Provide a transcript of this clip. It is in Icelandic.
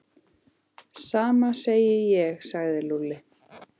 Sama segi ég sagði Lúlli.